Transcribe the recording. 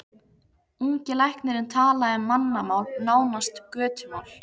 Ungi læknirinn talaði mannamál, nánast götumál.